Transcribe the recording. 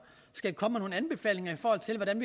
skal komme med nogle anbefalinger i forhold til hvordan